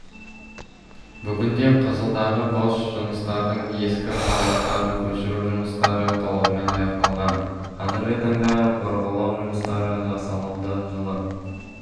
бүгінде қызылдағы бос жыныстардың ескі қалдықтарын көшіру жұмыстары толығымен аяқталған қазіргі таңда бұрғылау жұмыстары жасалуда жылы